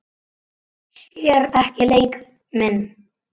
Sér ekki leik minn.